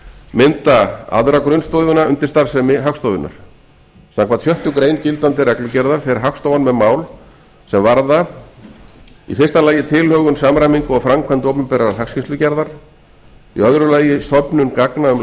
mynda aðra grunnstoðina undir starfsemi hagstofunnar samkvæmt sjöttu grein gildandi reglugerðar fer hagstofan með mál sem varða fyrstu tilhögun samræmingu og framkvæmd opinberrar hagskýrslugerðar annars söfnun gagna um